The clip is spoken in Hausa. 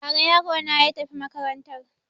Ba ra yarona ya tafi makarantar